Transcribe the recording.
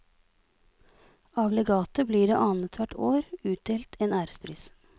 Av legatet blir det annet hvert år utdelt en ærespris.